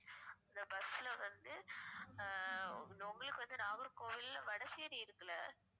இந்த bus ல வந்து ஆஹ் உங்களுக்கு வந்து நாகர்கோவில்ல வடசேரி இருக்குல்ல